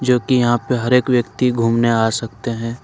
जो की यहां पे हर एक व्यक्ति घूमने आ सकते है।